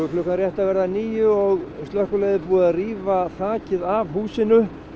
klukkan rétt að verða níu og slökkviliðið er búið að rífa þakið af húsinu